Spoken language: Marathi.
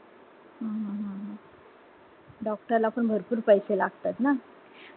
doctor ला पण भरपूर पैशे लागतात ना